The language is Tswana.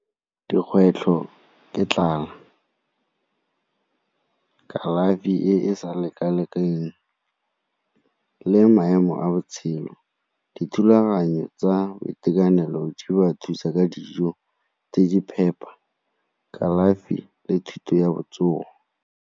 Dikgwetlho ke tlala, kalafi e e sa leka-lekaneng le maemo a botshelo. Dithulaganyo tsa boitekanelo jo ba thusa ka dijo tse di phepa, kalafi le thuto ya botsogo.